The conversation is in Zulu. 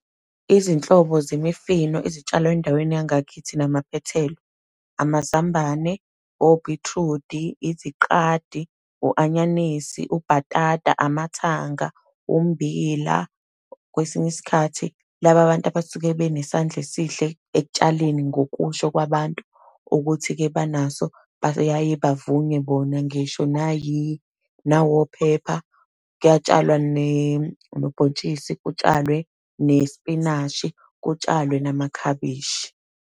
Izinhlobo zemifino ezitshalwe endaweni yangakithi namaphethelo, amazambane, obhithrudi, iziqadi, u-anyanisi, ubhatata, amathanga ummbila. Kwesinye isikhathi laba bantu abasuke benesandla esihle ekutshaleni, ngokusho kwabantu, ukuthi-ke banaso bayaye bavunywe bona ngisho nawophepha. Kuyatshalwa nobhontshisi, kutshalwe nespinashi, kutshalwe namakhabishi.